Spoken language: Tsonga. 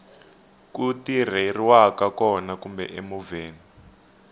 ku tirheriwaka kona kumbe emovheni